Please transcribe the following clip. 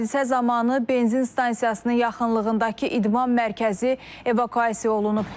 Hadisə zamanı benzin stansiyasının yaxınlığındakı idman mərkəzi evakuasiya olunub.